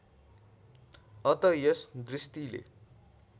अत यस दृष्टिले